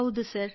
ಹೌದು ಸರ್